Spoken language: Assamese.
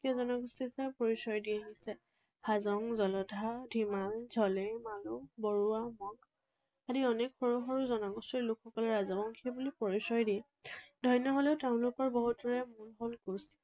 জনগোষ্ঠী হিচাপে পৰিচয় দি আহিছে। হাজং, জলধা, ধিমাল, ঝলে, মালৌ, বৰুৱা আদি অনেক সৰু সৰু জনগোষ্ঠীৰ লোকসকলৰ ৰাজবংশী বুলি পৰিচয় দি ধন্য হলেও তেওঁলোক বহুতৰে মূল হল কোচ।